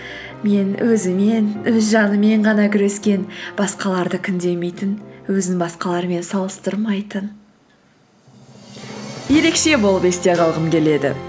мен өзімен өз жанымен ғана күрескен басқаларды күндемейтін өзін басқалармен салыстырмайтын ерекше болып есте қалғым келеді